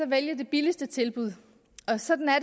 vælge de billigste tilbud og sådan er